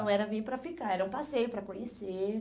Não era vim para ficar, era um passeio para conhecer.